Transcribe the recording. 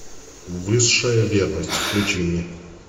высшая верность включи мне